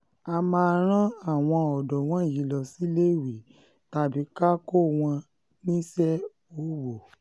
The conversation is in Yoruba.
a máa rán àwọn ọ̀dọ́ wọ̀nyí lọ síléèwé tàbí ká kó wọn níṣẹ́ owó